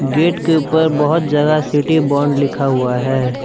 Gate के ऊपर बहुत ज्यादा सिटी बॉन्ड लिखा हुआ है।